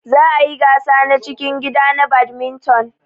Za ayi gasa na cikin gida na badminton.